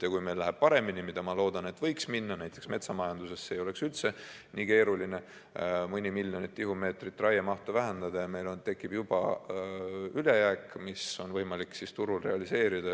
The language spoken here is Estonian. Ja kui meil läheb paremini, nagu ma loodan, et võiks minna – näiteks metsamajanduses ei oleks üldse nii keeruline mõni miljon tihumeetrit raiemahtu vähendada –, siis meil tekib juba ülejääk, mida on võimalik turul realiseerida.